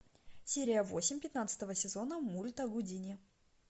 серия восемь пятнадцатого сезона мульта гудини